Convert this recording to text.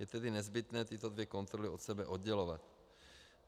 Je tedy nezbytné tyto dvě kontroly od sebe oddělovat.